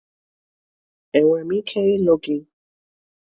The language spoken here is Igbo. Enwere m ike ịlụ gị?